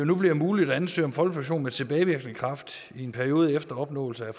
nu bliver muligt at ansøge om folkepension med tilbagevirkende kraft i en periode efter opnåelse af